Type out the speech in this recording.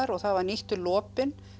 og það var nýttur lopinn